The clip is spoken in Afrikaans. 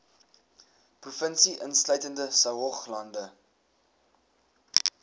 provinsie insluitende saoglande